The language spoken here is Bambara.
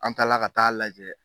An taala ka taa lajɛ.